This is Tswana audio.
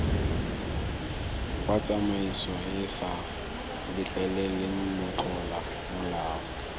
wa tsamaisoeesa letleleleng motlola molao